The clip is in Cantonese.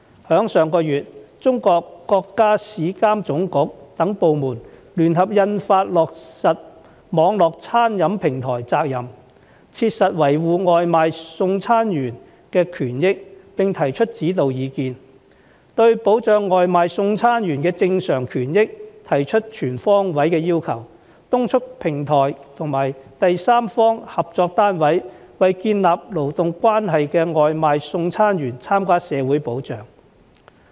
在上月，中國國家市場監督管理總局等部門聯合印發《關於落實網絡餐飲平台責任切實維護外賣送餐員權益的指導意見》，對保障外賣送餐員的正常權益提出全方位要求，督促平台及第三方合作單位為建立勞動關係的外賣送餐員參加社會保障。